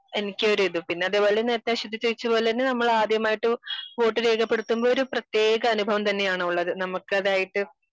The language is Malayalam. എനിക്ക് ഒരു ഇത് പിന്നെ അതേപോലെ നേരത്തെ അശ്വതി ചോദിച്ചപോലെ തന്നെ നമ്മൾ ആദ്യമായിട്ട് വോട്ട് രേഖപ്പെടുത്തുമ്പോൾ ഒരു പ്രത്യേക അനുഭവം തന്നെ ആണുള്ളത് നമുക്ക് അതായിട്ട്